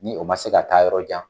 Ni o ma se ka taa yɔrɔ jan.